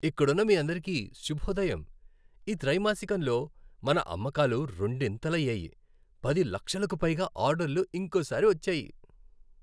ఇక్కడున్నమీ అందరికీ శుభోదయం. ఈ త్రైమాసికంలో మన అమ్మకాలు రెండింతలు అయ్యాయి, పది లక్షలకు పైగా ఆర్డర్లు ఇంకోసారి వచ్చాయి.